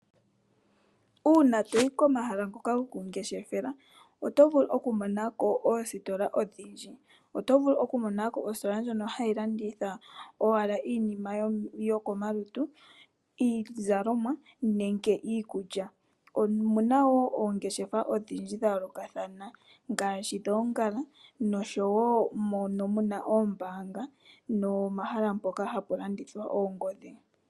Uuna toyi komahala ngoka goku ngeshefela oto vulu oku monako oositola odhindji. Oto vulu oku monako ositola ndjono hayi landitha owala iinima yokomalutu iizalomwa nenge iikulya. Omuna wo oongeshefa odhindji dha yoolokathana ngaashi dhoongala nosho wo mono muna oombaanga nomahala mpoka hapu landithwa oongodhi.